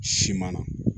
Siman na